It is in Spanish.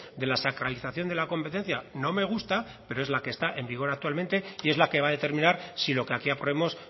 de la sacralización de la competencia no me gusta pero es la que está en vigor actualmente y es la que va a determinar si lo que aquí aprobemos